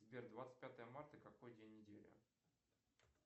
сбер двадцать пятое марта какой день недели